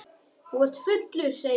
Þú ert fullur, segir hún.